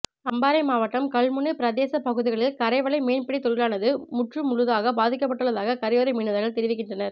அம்பாறை மாவட்டம் கல்முனை பிரதேச பகுதிகளில் கரைவலை மீன்பிடித் தொழிலானது முற்றுமுழுதாகப் பாதிக்கப்பட்டுள்ளதாக கரையோர மீனவர்கள் தெரிவிக்கின்றனர்